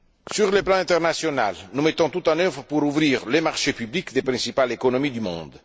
Sur le plan international, nous mettons tout en œuvre pour ouvrir les marchés publics des principales économies du monde.